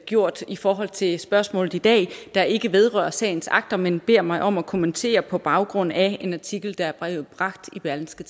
gjort i forhold til spørgsmålet i dag der ikke vedrører sagens akter men beder mig om at kommentere på baggrund af en artikel der er bragt i berlingske